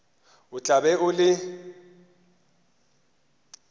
o tla be o le